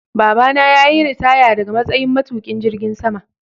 Baba na yayi ritaya daga matsayin matuƙin jirgin sama.